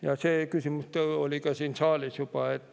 Ja see küsimus oli ka siin saalis juba.